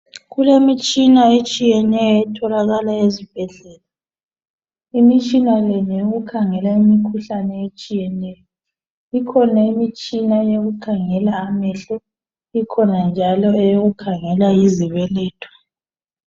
Kulemitshina etshiyeneyo etholakala ezibhedlela, imitshina le ngeyokukhangela imikhuhlane etshiyeneyo, ikhona imitshina eyokukhangela amehlo, ikhona njalo eyokukhangela izibeletho.